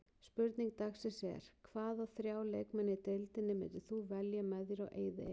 Spurning dagsins er: Hvaða þrjá leikmenn í deildinni myndir þú velja með þér á eyðieyju?